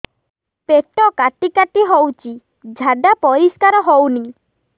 ପେଟ କାଟି କାଟି ହଉଚି ଝାଡା ପରିସ୍କାର ହଉନି